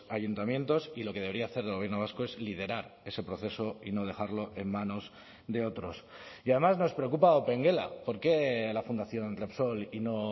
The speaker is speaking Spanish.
ayuntamientos y lo que debería hacer el gobierno vasco es liderar ese proceso y no dejarlo en manos de otros y además nos preocupa opengela por qué la fundación repsol y no